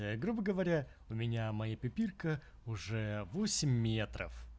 грубо говоря у меня мои пипирка уже восемь